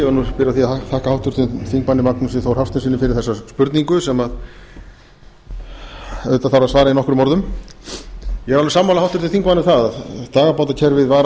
því að þakka háttvirtum þingmanni magnúsi þór hafsteinssyni fyrir þessa spurningu sem auðvitað þarf að svara í nokkrum orðum ég er alveg sammála háttvirtum þingmanni um það að dagabátakerfið var